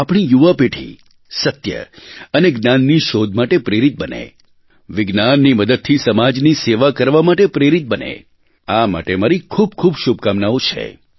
આપણી યુવા પેઢી સત્ય અને જ્ઞાનની શોધ માટે પ્રેરિત બને વિજ્ઞાનની મદદથી સમાજની સેવા કરવા માટે પ્રેરિત બને આ માટે મારી ખૂબખૂબ શુભકામનાઓ છે